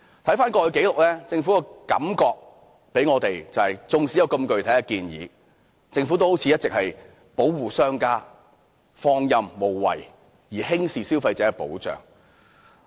回看過去的紀錄，政府給我們的感覺是，縱使有如此具體的建議，但政府卻好像一直是在保護商家，放任無為，輕視對消費者的保障。